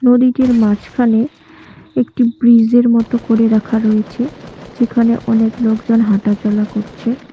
ছবিটির মাঝখানে একটি ব্রিস -এর মতো করে রাখা রয়েছে যেখানে অনেক লোকজন হাঁটাচলা করছে।